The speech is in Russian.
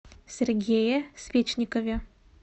сергее свечникове